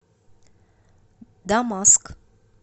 дамаск